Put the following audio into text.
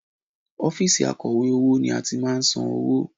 Ọ́fíìsì akọ̀wé owó ni a ti máa ń san owó